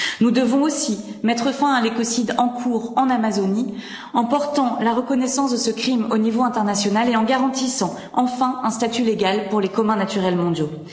Nous devons aussi mettre fin à l'écocide en cours en Amazonie, en portant la reconnaissance de ce crime au niveau international et en garantissant enfin un statut légal pour les communs naturels mondiaux.